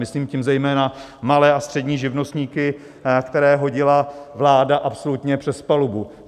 Myslím tím zejména malé a střední živnostníky, které hodila vláda absolutně přes palubu.